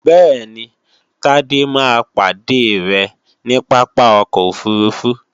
bẹ́ẹ̀ni, Tádé máa pàdé rẹ ní Pápá ọkọ̀ òfurufú